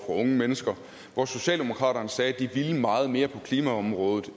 unge mennesker hvor socialdemokraterne sagde at de ville meget mere på klimaområdet